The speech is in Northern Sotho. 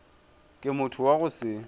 ke motho wa go se